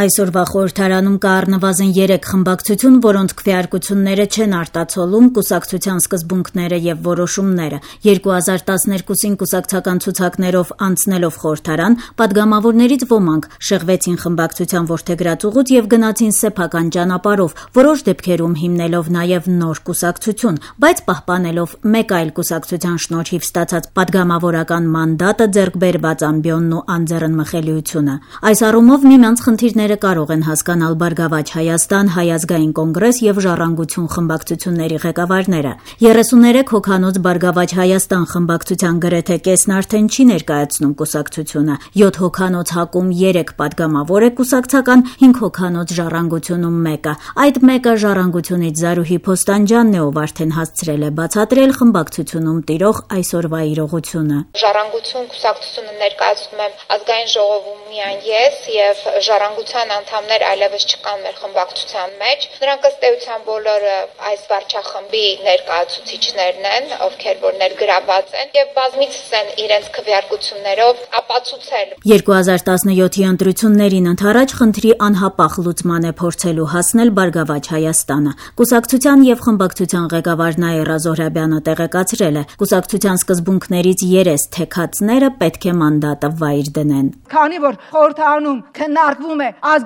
Այսօրվա խորհրդարանում կա առնվազն 3 խմբակցություն, որոնց քվեարկությունները չեն արտացոլում կուսակցական սկզբունքները եւ որոշումները: 2012-ին կուսակցական ցուցակներով անցնելով խորհրդարան, պատգամավորներից ոմանք շեղվեցին խմբակցության որդեգրած ուղուց եւ գնացին սեփական ճանապարհով՝ որոշ դեպքերում հիմնելով նաեւ նոր կուսակցություն, բայց պահպանելով մեկ այլ կուսակցության շնորհիվ ստացած պատգամավորական մանդատը, ձեռք բերված ամբիոնն ու անձեռնմխելիությունը: Այս առումով միմյանց խնդիրները կարող են հասկանալ Բարգավաճ Հայաստան, Հայ Ազգային Կոնգրես եւ Ժառանգություն խմբակցությունների ղեկավարները: 33 հոգանոց Բարգավաճ Հայաստան խմբակցության գրեթե կեսն արդեն չի ներկայացնում կուսակցությունը, 7 հոգանոց ՀԱԿ-ում երեք պատգամավոր է կուսակցական, 5 հոգանոց Ժառանգությունում՝ մեկը: Այդ մեկը Ժառանգությունից Զարուհի Փոստանջյանն է, ով արդեն հասցրել է բացատրել խմբակցությունում տիրող այսօրվա իրողությունը: « Ժառանգություն կուսակցությունը Աժ-ում ներկայացնում եմ միայն ես եւ «Ժառանգության» անդամներ այլեւս չկան մեր խմբակցության մեջ: Նրանք ըստ էության բոլորը այս վարչախմբի ներկայացուցիչներն են եւ բազմիցս են իրենց քվեարկություններով ապացուցել»: 2017-ի ընտրություններին ընդառաջ խնդրի անհապաղ լուծման է փորձելու հասնել Բարգավաճ Հայաստանը: Կուսակցության եւ խմբակցության ղեկավար Նաիրա Զոհրաբյանը տեղեկացրել է՝ կուսակցության սկզբունքներից «երես թեքածները» պետք է մանդատը վայր դնեն: «Քանի որ խորհրդարանում քննարկվում է Աժ